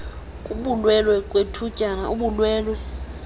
kubulwelwe kwethutyana ubulwelwe